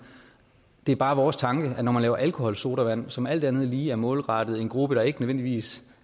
det er bare vores tanke at når man laver alkoholsodavand som alt andet lige er målrettet en gruppe der ikke nødvendigvis